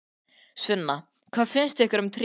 Sunna: Hvað finnst ykkur um tréð?